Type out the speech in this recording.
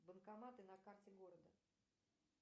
банкоматы на карте города